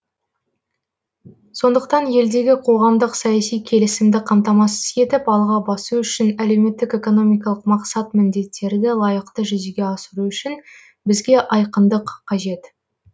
сондықтан елдегі қоғамдық саяси келісімді қамтамасыз етіп алға басу үшін әлеуметтік экономикалық мақсат міндеттерді лайықты жүзеге асыру үшін бізге айқындық қажет